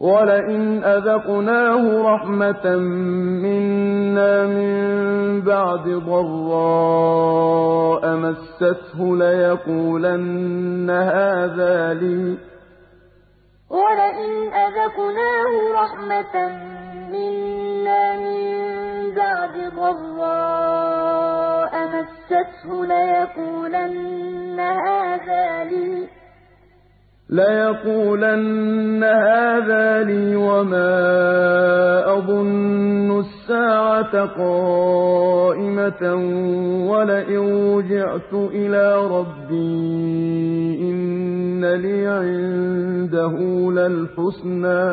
وَلَئِنْ أَذَقْنَاهُ رَحْمَةً مِّنَّا مِن بَعْدِ ضَرَّاءَ مَسَّتْهُ لَيَقُولَنَّ هَٰذَا لِي وَمَا أَظُنُّ السَّاعَةَ قَائِمَةً وَلَئِن رُّجِعْتُ إِلَىٰ رَبِّي إِنَّ لِي عِندَهُ لَلْحُسْنَىٰ